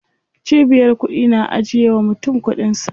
Cibiyar kuɗi na ajiye wa mutum kuɗin sa.